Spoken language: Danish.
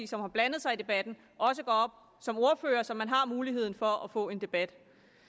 som har blandet sig i debatten også går op som ordfører så man har muligheden for at få en debat